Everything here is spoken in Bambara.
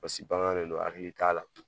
Paseke bagan de don hakili t'a la.